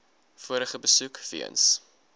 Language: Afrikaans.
vorige besoek weens